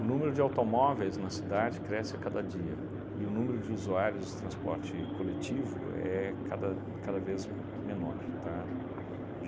O número de automóveis na cidade cresce a cada dia e o número de usuários de transporte coletivo é cada cada vez m menor, tá?